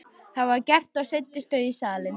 Það var gert og leiddust þau í salinn.